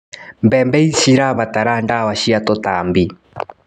Mbembe cirabatara ndawa cia tũtambi.